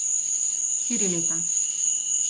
Štiri leta.